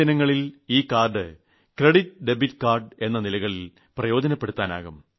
വരുംദിനങ്ങളിൽ ഈ card credit debit card എന്നീ നിലകളിൽ പ്രയോജനപ്പെടുത്താനാകും